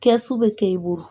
Kɛsu bɛ kɛ i bolo